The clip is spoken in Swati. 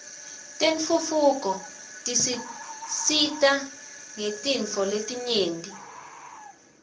tentfutfuko tisisita ngetintfo letinyenti